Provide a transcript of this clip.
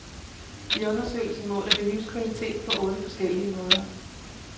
I undersøgelsen måler vi livskvalitet på otte forskellige måder.